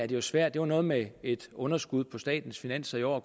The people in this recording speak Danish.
jo svært det var noget med et underskud på statens finanser i år